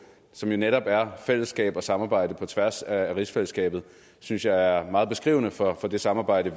som jo netop er fællesskab og samarbejde på tværs af rigsfællesskabet synes jeg er meget beskrivende for det samarbejde